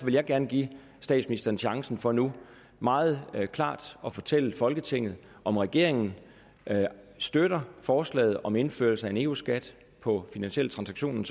vil jeg gerne give statsministeren chancen for nu meget klart at fortælle folketinget om regeringen støtter forslaget om indførelse af en eu skat på finansielle transaktioner